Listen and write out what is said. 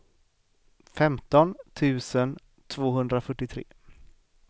femton tusen tvåhundrafyrtiotre